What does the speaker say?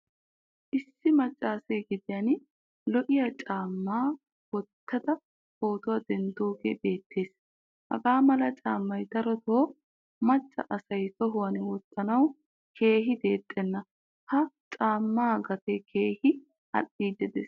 Issi maccese gediyan lo'iyaa caama wottada pootuwaa denddoge beetees. Hagamala caamay darotto macca asay tohuwan wottanawu keehin deexxena. Ha caama gatee keehin al'idi de'ees.